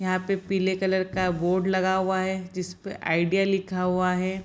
यहाँ पर पीले कलर का बोर्ड लगा हुआ है जिस पर आइडिया लिखा हुआ है।